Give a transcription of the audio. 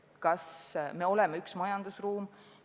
Kas me oleme üks majandusruum?